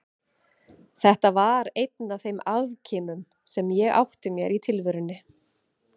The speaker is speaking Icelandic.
Þetta var einn af þeim afkimum sem ég átti mér í tilverunni.